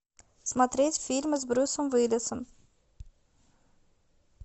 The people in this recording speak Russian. смотреть фильмы с брюсом уиллисом